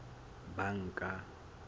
banka